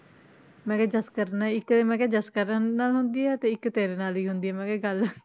ਮੈਂ ਕਿਹਾ ਜਸਕਰਨ ਹੈ ਇੱਕ ਮੈਂ ਕਿਹਾ ਜਸਕਰਨ ਨਾਲ ਹੁੰਦੀ ਹੈ ਤੇ ਇੱਕ ਤੇਰੇ ਨਾਲ ਹੀ ਹੁੰਦੀ ਹੈ ਮੈਂ ਕਿਹਾ ਗੱਲ